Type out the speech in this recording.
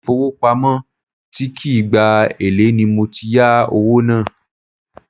Ile ifowopamo tí kì í gba èlé ni mo ti yà owó náà.